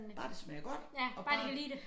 Bare det smager godt og bare